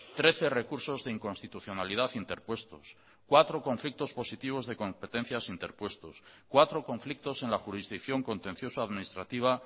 trece recursos de inconstitucionalidad interpuestos cuatro conflictos positivos de competencias interpuestos cuatro conflictos en la jurisdicción contencioso administrativa